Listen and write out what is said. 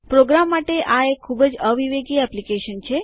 programme માટે આ એક ખૂબ જ અવિવેકી એપ્લિકેશન છે